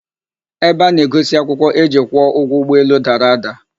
Ebe a na-egosi akwụkwọ eji kwụọ ụgwọ ụgbọelu dara ada.